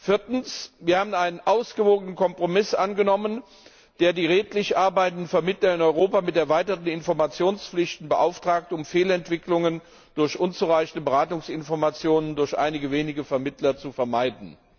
Viertens haben wir einen ausgewogenen Kompromiss angenommen, der die redlich arbeitenden Vermittler in Europa mit erweiterten Informationspflichten beauftragt, um Fehlentwicklungen durch unzureichende Beratungsinformationen durch einige wenige Vermittler zu vermeiden.